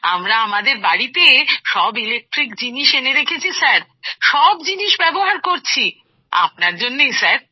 আমরা আমাদের বাড়িতে সব ইলেকট্রিক জিনিস এনে রেখেছি স্যার সব জিনিস ব্যবহার করছি আপনার জন্যেই স্যার